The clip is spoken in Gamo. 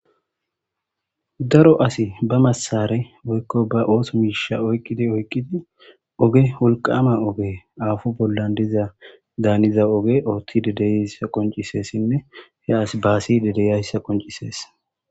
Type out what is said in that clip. Daro asi ba masare woykko ba ooso miisha oyqqidi oykqidi oge wulqama oge aafo bollan diza daaniza oge oothti dedeyssa qoncisessinne he as baasi dedeyayssa qoncisees.